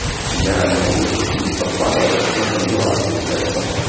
я ему руку ну подхватываю как ну подбиваю получается